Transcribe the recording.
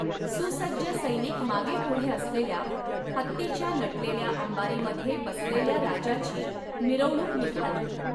सुसज्ज सैनिक मागेपुढे असलेल्या, हत्तीच्या नटलेल्या अंबारीमध्ये बसलेल्या राजाची मिरवणूक निघाली.